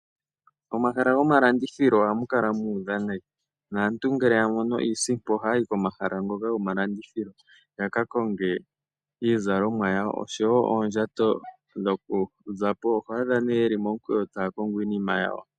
Momahala gomalandithilo ohamu kala mu udha nayi, naantu ngele yamono iisimpo, ohayayi komahala ngono gomalandithilo, yakakonge iizalomwa yawo, oshowo oondjato dhokuzapo. Oho adha nee yeli momukweyo taya kongo iinima yawo.